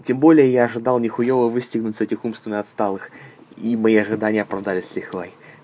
тем более я ожидал не хуёво выстегнуть с этих умственно отсталых и мои ожидания оправдались с лихвой